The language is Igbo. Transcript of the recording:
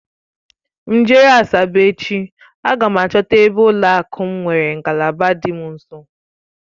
M jeruo Asaba echi, aga m achọta ebe ụlọakụ m nwere ngalaba dị m nso